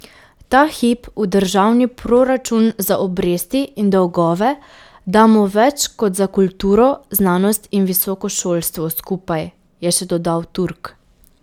Ta hip v državni proračun za obresti in dolgove damo več kot za kulturo, znanost in visoko šolstvo skupaj, je še dodal Turk.